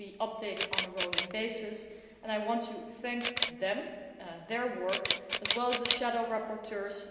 It will be updated on a rolling basis and I want to thank them for their work, as well as the shadow rapporteurs.